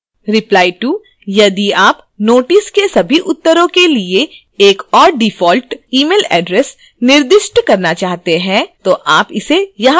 replyto यदि आप notices के सभी उत्तरों के लिए एक और default email address निर्दिष्ट करना चाहते हैं तो आप इसे यहां कर सकते हैं